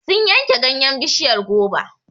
Sun yanke ganyen bishiyar goba.